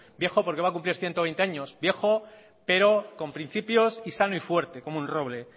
viejo porque va a cumplir ciento veinte años viejo pero con principios y sano y fuerte como un roble